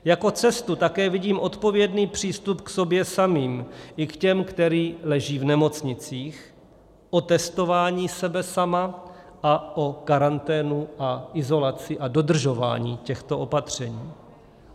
Jako cestu také vidím odpovědný přístup k sobě samým i k těm, kteří leží v nemocnicích, o testování sebe sama a o karanténu a izolaci a dodržování těchto opatření.